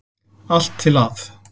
Allt til að